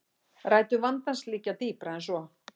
Rætur vandans liggja dýpra en svo